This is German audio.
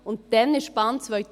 Dann kam die Bahn 2000.